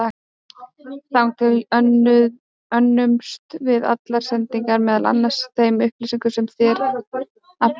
Þangað til önnumst við allar sendingar, meðal annars á þeim upplýsingum sem þér aflið.